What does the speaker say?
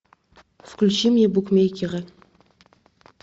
включи мне букмекеры